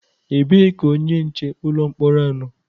Ebee ka onye nche ụlọ mkpọrọ nọ?